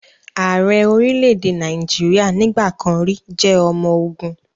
Ààrẹ orílẹ̀-èdè Nàìjíríà nígbà kan rì jẹ́ ọmọ ogun